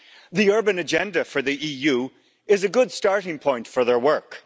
The urban agenda for the EU is a good starting point for their work.